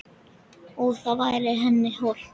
Og væri það henni hollt?